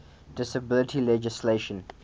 disability legislation